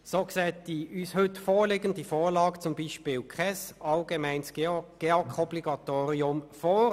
So sieht das uns heute vorliegende Gesetz kein allgemeines Obligatorium für den Gebäudeenergieausweis der Kantone (GEAK) vor.